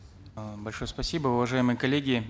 э большое спасибо уважаемые коллеги